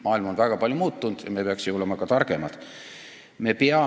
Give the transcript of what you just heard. Maailm on väga palju muutunud ja me peaksime targemad olema.